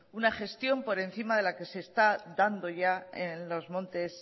una gestión por encima de la que se está dando ya en los montes